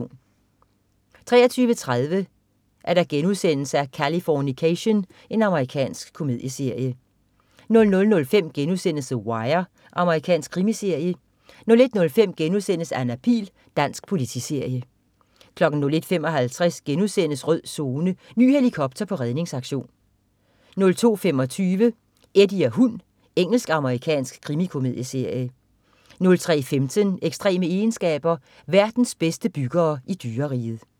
23.30 Californication.* Amerikansk komedieserie 00.05 The Wire.* Amerikansk krimiserie 01.05 Anna Pihl.* Dansk politiserie 01.55 Rød Zone: Ny helikopter på redningsaktion* 02.25 Eddie og hund. Engelsk-amerikansk krimikomedieserie 03.15 Ekstreme egenskaber. Verdens bedste byggere i dyreriget